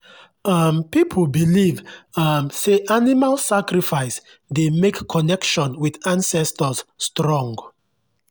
um people believe um say animal sacrifice dey make connection with ancestors strong.